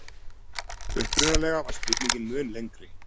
Upprunalega var spurningin mun lengri.